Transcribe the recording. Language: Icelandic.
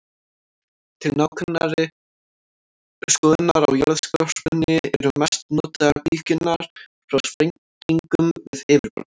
Til nákvæmari skoðunar á jarðskorpunni eru mest notaðar bylgjur frá sprengingum við yfirborð.